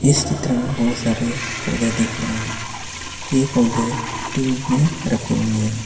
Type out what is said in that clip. इस चित्र मे बोहोत सारे पौधे दिख रहे हे ये पौधे ट्यूब मे रखे हुई हे.